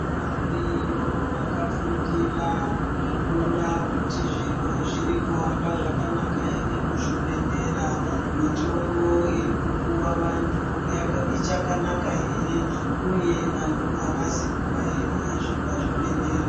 Variyo vakafundira kuona kuti zviro zvirikuhamba zvakanaka ere muzvibhedhlera, mitombo irikupuwa vantu ichakanaka ere uye vantu avazi kubaa ere zvepazvibhedhlera.